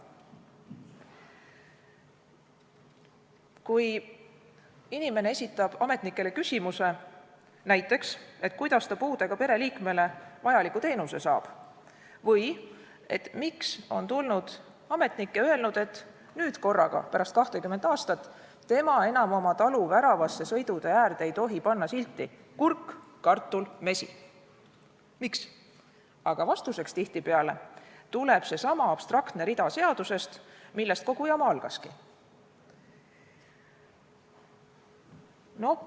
Kui inimene esitab ametnikele küsimuse, näiteks, et kuidas ta puudega pereliikmele vajaliku teenuse saab või miks on ametnik tulnud ja öelnud, et nüüd korraga, pärast 20 aastat tema enam oma talu väravasse sõidutee äärde ei tohi panna silti "Kurk, kartul, mesi", siis vastuseks tuleb tihtipeale seesama abstraktne rida seadusest, millest kogu jama algaski.